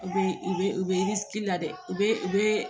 U bɛ u bɛ u bɛ la dɛ u bɛ u bɛ